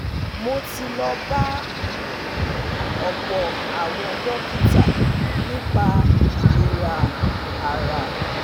mo ti lọ bá um ọ̀pọ̀ àwọn dókítà nípa ìlera ara